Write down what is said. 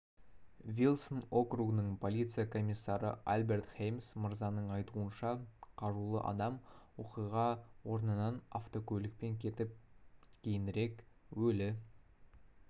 вилсон округінің полиция комиссары альберт хеймз мырзаның айтуынша қарулы адам оқиға орнынан автокөлікпен кетіп кейінірек өлі